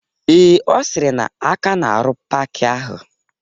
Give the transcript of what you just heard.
Ee, Ọ sịrị na aka na-arụ paaki ahụ